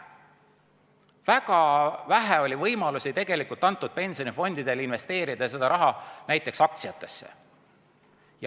Väga vähe oli tegelikult antud pensionifondidele võimalusi investeerida seda raha näiteks aktsiatesse.